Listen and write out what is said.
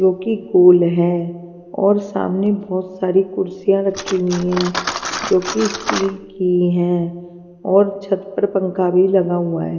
जो कि गोल है और सामने बहुत सारी कुर्सियां रखी हुई हैं जो कि स्टील की है और छत पर पंखा भी लगा हुआ है.